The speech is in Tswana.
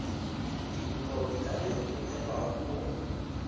dikopo di ka romelwa go